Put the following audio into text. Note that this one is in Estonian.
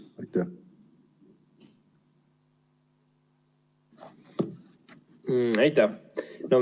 Aitäh!